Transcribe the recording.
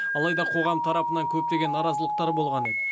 алайда қоғам тарапынан көптеген наразылықтар болған еді